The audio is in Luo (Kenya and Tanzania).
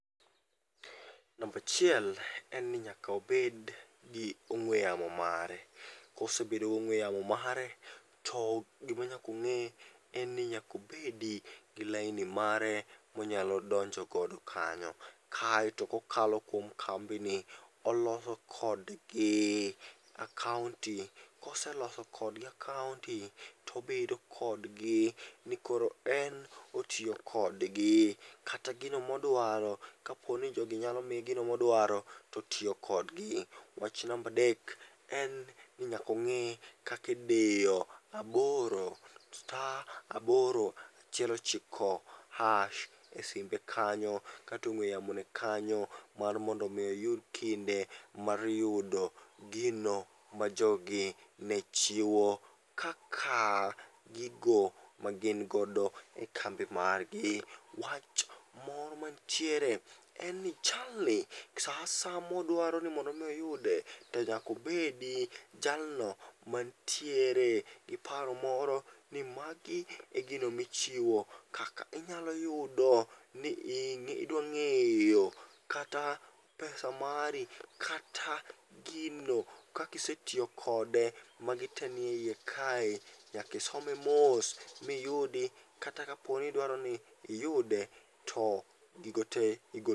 Nambachiel en ni nyaka obed gi ong'we yamo mare. Kosebedo gong'we yamo mare to gimanyakong'e en ni nyakobedi gi laini mare monyalo donjogodo kanyo. Kaeto kokalo kuom kambi ni, oloso kodgi akaonti, koseloso kodgi akaonti tobedo kodgi nikoro en otiyo kodgi. Kata gino modwaro kaponi jogi nyamiye gino modwaro, totiyo kodgi. Wach nambadek en ni nyakong'e kakidiyo aboro, sta aboro achiel ochiko hash e simbe kanyo katong'we yamone kanyo. Mar mondo mi oyud kinde mar yudo gino ma jogi ne chiwo kaka gigo magingodo e kambi margi. Wach moro mantiere en ni jalni sa asaya modwaro ni mondo mi oyude, to nyakobedi jalno mantiere gi paro moro ni magi e gino michiwo kaka inyalo yudo ni idwang'eyo kata pesa mari. Kata gino kakisetiyo kode, magi te nie iye kae, nyakisome mos miyudi. Kata kaponi idwaroni iyude, to gigo te igo.